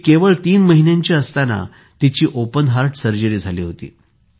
ती केवळ तीन महिन्यांची असताना तिची ओपन हार्ट सर्जरी झाली होती